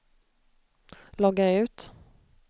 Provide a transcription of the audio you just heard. logga ut